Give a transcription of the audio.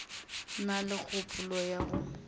na le kgopolo ya go